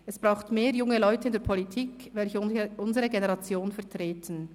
Es braucht mehr junge Leute in der Politik, welche unsere Generation vertreten.